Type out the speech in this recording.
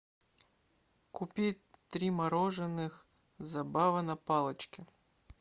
купить три мороженых забава на палочке